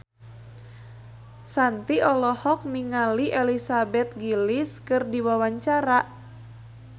Shanti olohok ningali Elizabeth Gillies keur diwawancara